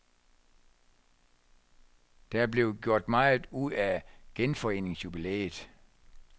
Der blev gjort meget ud af genforeningsjubilæet.